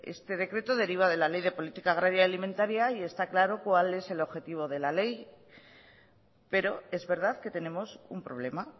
este decreto deriva de la ley de política agraria y alimentaria y está claro cuál es el objetivo de la ley pero es verdad que tenemos un problema